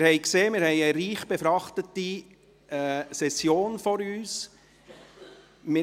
Sie haben gesehen, dass wir eine reich befrachtete Session vor uns haben.